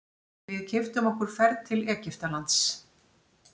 Við keyptum okkur ferð til Egyptalands.